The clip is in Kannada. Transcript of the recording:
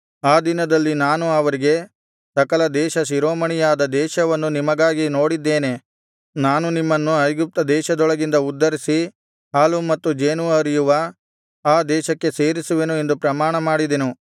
ಆ ದಿನದಲ್ಲಿ ನಾನು ಅವರಿಗೆ ಸಕಲ ದೇಶ ಶಿರೋಮಣಿಯಾದ ದೇಶವನ್ನು ನಿಮಗಾಗಿ ನೋಡಿದ್ದೇನೆ ನಾನು ನಿಮ್ಮನ್ನು ಐಗುಪ್ತ ದೇಶದೊಳಗಿಂದ ಉದ್ಧರಿಸಿ ಹಾಲೂ ಮತ್ತು ಜೇನೂ ಹರಿಯುವ ಆ ದೇಶಕ್ಕೆ ಸೇರಿಸುವೆನು ಎಂದು ಪ್ರಮಾಣಮಾಡಿದೆನು